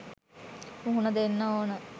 මුහුණ දෙන්න ඕන.